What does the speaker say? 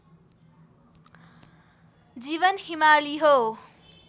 जीवन हिमाली हो